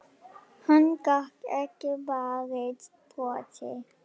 Hann gat ekki varist brosi.